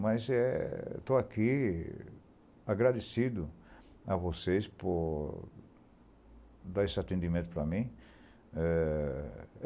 Mas é, estou aqui agradecido a vocês por dar esse atendimento para mim. Eh